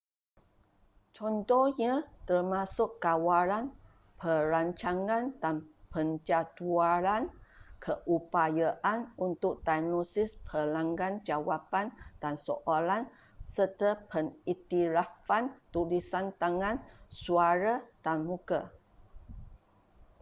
contohnya termasuk kawalan perancangan dan penjadualan keupayaan untuk diagnosis pelanggan jawapan dan soalan serta pengiktirafan tulisan tangan suara dan muka